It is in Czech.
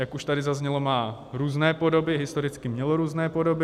Jak už tady zaznělo, má různé podoby, historicky mělo různé podoby.